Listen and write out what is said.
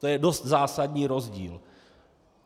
To je dost zásadní rozdíl.